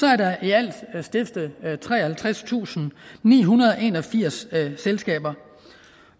er der i alt stiftet treoghalvtredstusinde og nihundrede og enogfirs selskaber